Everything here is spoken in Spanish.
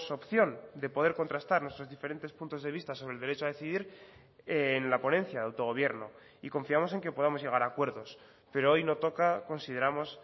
opción de poder contrastar nuestros diferentes puntos de vista sobre el derecho a decidir en la ponencia de autogobierno y confiamos en que podamos llegar a acuerdos pero hoy no toca consideramos